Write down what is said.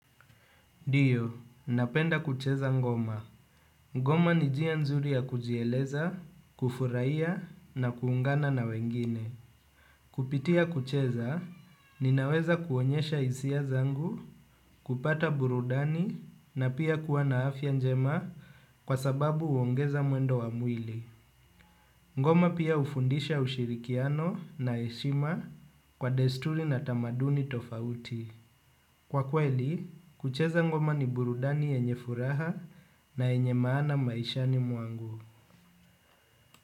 Ndiyo, napenda kucheza ngoma. Ngoma ni jia nzuri ya kujieleza, kufuraiya na kuungana na wengine. Kupitia kucheza, ninaweza kuonyesha isia zangu, kupata burudani na pia kuwa na afia njema kwa sababu uongeza mwendo wa mwili. Ngoma pia ufundisha ushirikiano na eshima kwa destuli na tamaduni tofauti. Kwa kweli, kucheza ngoma ni burudani enye furaha na enye maana maishani muangu.